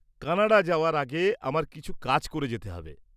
Canada যাওয়ার আগে আমার কিছু কাজ করে যেতে হবে।